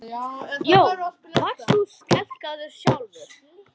Jón: Varst þú skelkaður sjálfur?